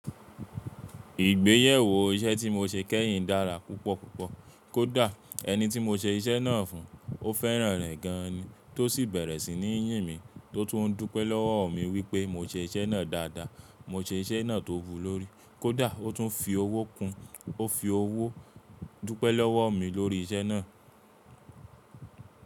Ìgbéyàwó iṣẹ́ tí mo ṣe kẹ́yìn dára púpọ̀ púpọ̀. Kódà ẹni tí mo ṣe iṣẹ́ náà fún, ó fẹ́ràn rẹ̀ gan-an ni, tó sì bẹ̀rẹ̀ sí ní yìn mí, tò tún dúpẹ́ lọ́wọ́ mi wípé mo ṣe iṣẹ́ náà dáadáa, mo ṣe iṣẹ́ náà tó wù lórí kódà ó tún fi owó kun, ó fi owó dúpẹ́ lọ́wọ́ mi lórí iṣẹ́ náà.